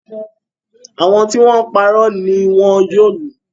Àwọn tí wọ́n ń parọ́ ni wọn yóò lù